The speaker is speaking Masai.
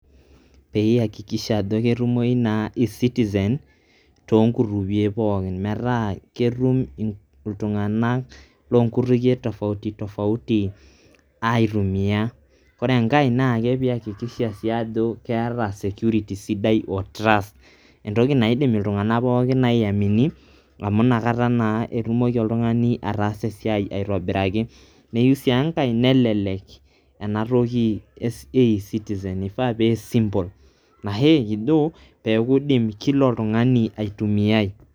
peyie eyakikisha ajo ketumoyu naa ecitizen too nkutukie .metaa ketum iltunganak, loo nkutukie tofauti tofauti aitumia. ore enkae naa peeiyakikisha sii ajo, keeta security sidai o trust. entoki naidim iltunganak pookin aimini, amu inakata naa etumoki oltungani ataasa esiai, aitobiraki, neyieu sii enkae nelelk ena toki e ecitizen. ifaa pee simple ashu ekijo eidim kila oltungani aitumiyae.